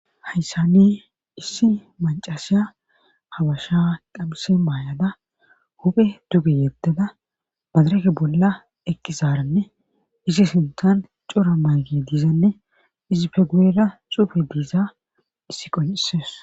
hayssani issi macasiya habasha qabhise maayada huphe duge yedada madareke bolla eqqi zaaranne isi sintan cora maagi dizanne izi fe guyera cuufe dizay issi qoncisdees